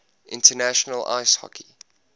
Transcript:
international ice hockey